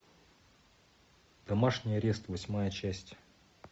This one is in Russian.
домашний арест восьмая часть